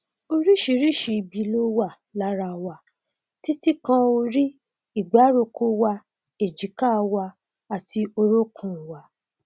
oríṣiríṣi ibi ló wà lára wa títí kan orí ìgbáròkó wa èjìká wa àti orúnkún wa